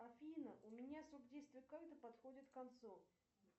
афина у меня срок действия карты подходит к концу